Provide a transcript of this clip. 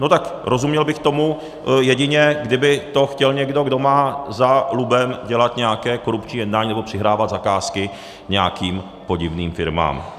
No tak rozuměl bych tomu, jedině kdyby to chtěl někdo, kdo má za lubem dělat nějaké korupční jednání nebo přihrávat zakázky nějakým podivným firmám.